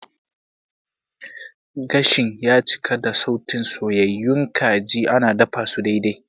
Gashin ya cika da sautin soyyayun kajin ana dafasu daidai.